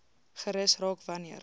gerus raak wanneer